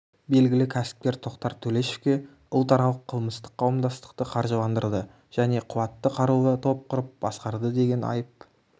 белгілі кәсіпкер тоқтар төлешовке ұлтаралық қылмыстық қауымдастықты қаржыландырды және қуатты қарулы топ құрып басқарды деген айып